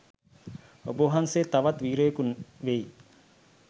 ඔබවහන්සෙ තවත් වීරයෙකු වෙයි